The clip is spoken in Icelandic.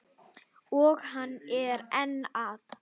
Og hann er enn að.